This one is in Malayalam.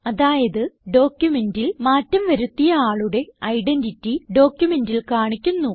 അതായത് ഡോക്യുമെന്റിൽ മാറ്റം വരുത്തിയ ആളുടെ ഐഡന്റിറ്റി ഡോക്യുമെന്റിൽ കാണിക്കുന്നു